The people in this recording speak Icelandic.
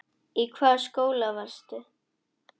Í hvaða skóla varstu?